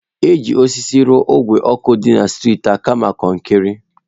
Eji osisi rụọ ogwe ọkụ dị na streetị a kama kọnkịrị